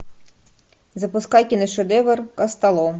запускай киношедевр костолом